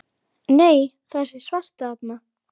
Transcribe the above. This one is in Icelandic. Það kviknar á peru prestsins og andlit hans ljómar